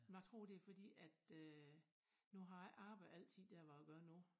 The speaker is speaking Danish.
Jeg tror det fordi at øh nu har jeg ikke arbejdet altid dér hvor jeg gør nu